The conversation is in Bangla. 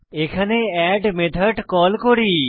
এখানে এড মেথড কল করি